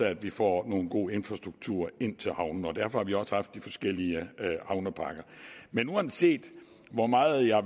at vi får nogle gode infrastrukturer ind til havnene derfor har vi også haft de forskellige havnepakker uanset hvor meget jeg